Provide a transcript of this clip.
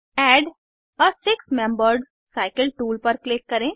add a six membered cycle tool पर click करें